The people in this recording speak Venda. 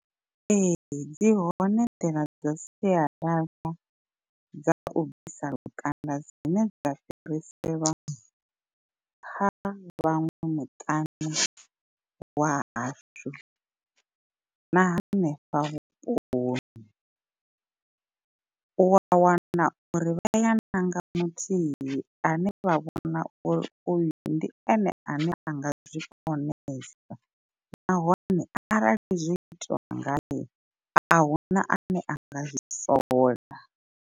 Ee dzi hone nḓila dza sialala dza u bvisa lukanda dzine dza fhiriselwa kha vhaṅwe muṱani wa hashu. Na hanefha vhuponi u a wana uri vhaya ya ṋanga muthihi ane vha vha vhona uri uyu ndi ene ane anga zwi konesa nahone arali zwo itiwa ngaye ahuna ane anga zwi sola.